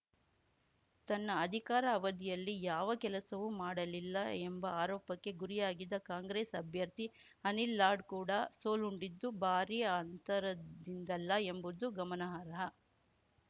ತನ್ನ ಅಧಿಕಾರ ಅವಧಿಯಲ್ಲಿ ಯಾವ ಕೆಲಸವೂ ಮಾಡಲಿಲ್ಲ ಎಂಬ ಆರೋಪಕ್ಕೆ ಗುರಿಯಾಗಿದ್ದ ಕಾಂಗ್ರೆಸ್‌ ಅಭ್ಯರ್ಥಿ ಅನಿಲ್‌ ಲಾಡ್‌ ಕೂಡ ಸೋಲುಂಡಿದ್ದು ಭಾರೀ ಅಂತರದಿಂದಲ್ಲ ಎಂಬುದು ಗಮನಾರ್ಹ